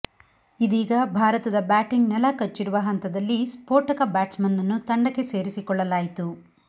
ಇದೀಗ ಭಾರತದ ಬ್ಯಾಟಿಂಗ್ ನೆಲಕಚ್ಚಿರುವ ಹಂತದಲ್ಲಿ ಸ್ಪೋಟಕ ಬ್ಯಾಟ್ಸ್ ಮನ್ ನ್ನು ತಂಡಕ್ಕೆ ಸೇರಿಸಿಕೊಳ್ಳಲಾಯಿತು